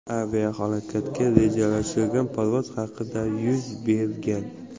Aviahalokat rejalashtirilgan parvoz vaqtida yuz bergan.